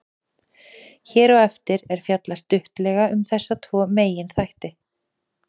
Hér á eftir er fjallað stuttlega um þessa tvo meginþætti.